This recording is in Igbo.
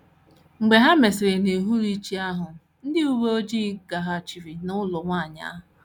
Mgbe e mesịrị n’uhuruchi ahụ, ndị uwe ojii gaghachiri n’ụlọ nwanyị ahụ.